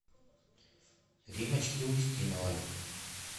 римочке устиновой